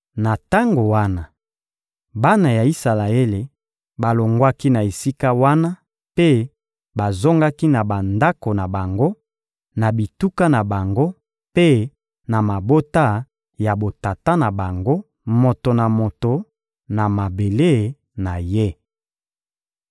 Na tango wana, bana ya Isalaele balongwaki na esika wana mpe bazongaki na bandako na bango, na bituka na bango mpe na mabota ya botata na bango, moto na moto na mabele na ye.